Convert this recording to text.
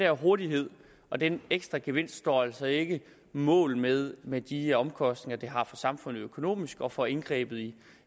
hurtighed og den ekstra gevinst står altså ikke mål med med de omkostninger det har for samfundet økonomisk og for indgrebet i